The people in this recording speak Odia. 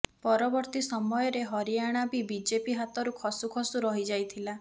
ପରବର୍ତ୍ତୀ ସମୟରେ ହରିଆଣା ବି ବିଜେପି ହାତରୁ ଖସୁ ଖସୁ ରହିଯାଇଥିଲା